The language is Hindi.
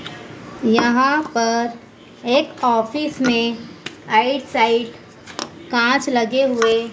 यहां पर एक ऑफिस में एक साइड कांच लगे हुए--